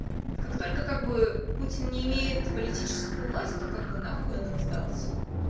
как только как бы путин не имеет политическую власть то как бы нахуй он им сдался